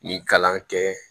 Nin kalan kɛ